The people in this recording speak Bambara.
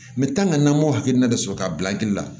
kan ka na m'o hakilina de sɔrɔ ka bila hakili la